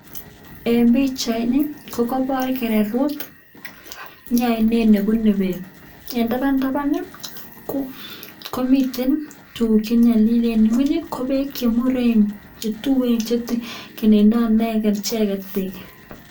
En pichaini ko koibor kererut, mi oinet ne bune beek. En taban taban ii komiten tuguk che nyolilen, en ng'weny ii ko beek che tuien che kenendo icheget beek.